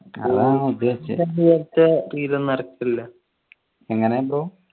അതാ ഉദ്ദേശിച്ച എങ്ങനെ